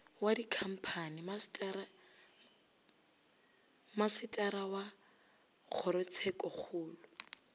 wa dikhamphani masetara wa kgorotshekokgolo